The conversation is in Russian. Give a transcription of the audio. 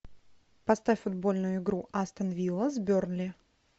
поставь футбольную игру астон вилла с бернли